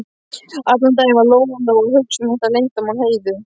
Allan daginn var Lóa Lóa að hugsa um þetta leyndarmál Heiðu.